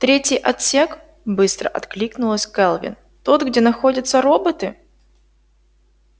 третий отсек быстро откликнулась кэлвин тот где находятся роботы